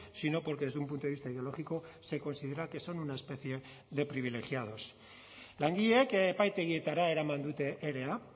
sino porque desde un punto de vista ideológico se considera que son una especie de privilegiados langileek epaitegietara eraman dute erea